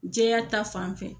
Jɛya ta fan fɛ